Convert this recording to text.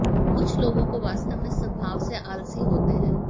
कुछ लोगों को वास्तव में स्वभाव से आलसी होते हैं